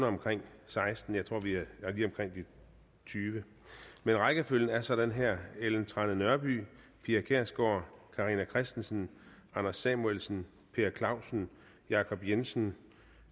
omkring seksten og jeg tror vi er lige omkring de tyvende men rækkefølgen er sådan her ellen trane nørby pia kjærsgaard carina christensen anders samuelsen per clausen jacob jensen